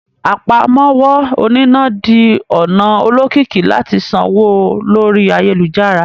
Àpámọ́wọ́ oníná di ọ̀nà olókìkí láti sanwó lórí ayélujára